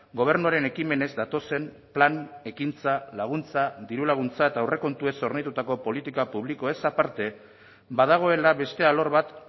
gobernuaren ekimenez datozen plan ekintza laguntza diru laguntza eta aurrekontuez hornitutako politika publikoez aparte badagoela beste alor bat